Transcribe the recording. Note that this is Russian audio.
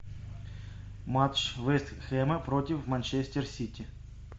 матч вест хэма против манчестер сити